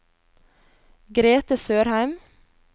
Grethe Sørheim